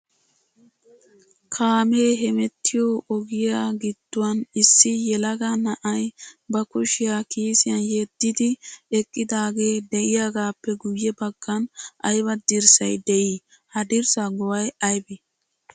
Kaamee hemettiyo ogiyaa gidduwan issi ylega na'ay ba kushiya kiisiyan yedidi eqqidaagee de'iyaagappe guyye baggan aybba dirssay de'ii? Ha dirssa go"ay aybbee?